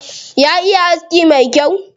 Ya iya aski me kyau.